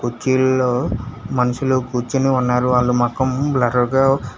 కుర్చీల్లో మనుషులు కూర్చుని ఉన్నారు వాళ్ళు మొఖం బ్లర్రుగా --